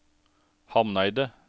Hamneidet